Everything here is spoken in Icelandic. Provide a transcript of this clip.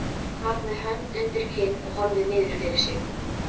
Sat með hönd undir kinn og horfði niður fyrir sig.